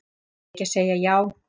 Verð ég ekki að segja já?